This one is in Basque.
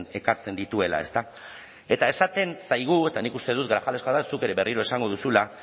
ekartzen dituela ezta eta esaten zaigu eta nik uste dut grajales jauna zuk ere berriro esango duzula